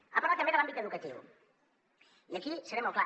ha parlat també de l’àmbit educatiu i aquí seré molt clar